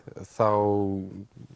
þá